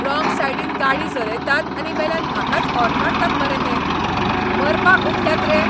Wrong सायडीन गाडी चलयतात आनी वेल्यान म्हाकाच हॉर्न मारतात मरे हे. मरपाक उठल्यात रे?